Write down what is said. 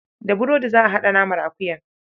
Da burodi za a haɗa naman akuyar.